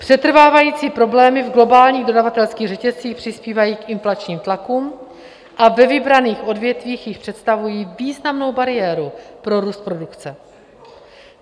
Přetrvávající problémy v globálních dodavatelských řetězcích přispívají k inflačním tlakům a ve vybraných odvětvích již představují významnou bariéru pro růst produkce.